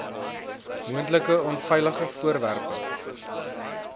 moontlike onveilige voorwerpe